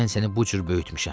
Mən səni bu cür böyütmüşəm.